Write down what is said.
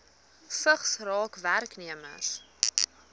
vigs raak werknemers